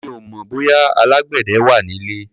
Mi ò mọ̀ bóyá alágbẹ̀dẹ wà nílé.